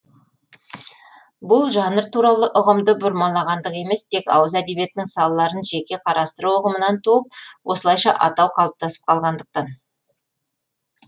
бұл жанр туралы ұғымды бұрмалағандық емес тек ауыз әдебиетінің салаларын жеке қарастыру ұғымынан туып осылайша атау қалыптасып қалғандықтан